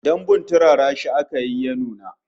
Dambun turara shi aka yi ya nuna